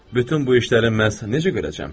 Bütün bu işləri məhz necə görəcəm?